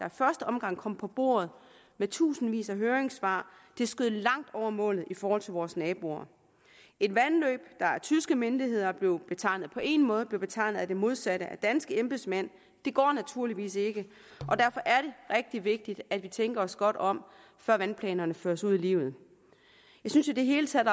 i første omgang kom på bordet med tusindvis af høringssvar skød langt over målet i forhold til vores naboer et vandløb der af tyske myndigheder blev betegnet på én måde blev betegnet som det modsatte af danske embedsmænd det går naturligvis ikke og derfor er det rigtig vigtigt at vi tænker os godt om før vandplanerne føres ud i livet jeg synes i det hele taget